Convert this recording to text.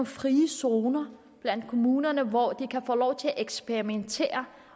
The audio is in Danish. frie zoner blandt kommunerne hvor de kan få lov til at eksperimentere